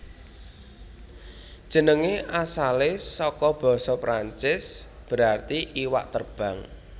Jenengé asalé saka basa Perancis berarti iwak terbang